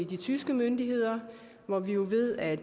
de tyske myndigheder hvor vi jo ved at